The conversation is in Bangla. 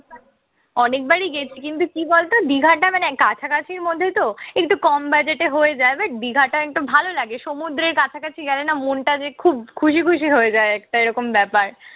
অনেকবারই গেছি কিন্তু কি বলতো দিঘাটা মানে কাছাকাছির মধ্যেতো একটু কম budget এ হয়ে যায়। but দিঘাটা একটু ভালো লাগে। সমুদ্রের কাছাকাছি গেলে না মনটা যে খুব খুশি খুশি হয়ে যায়, একটা এইরকম ব্যাপার।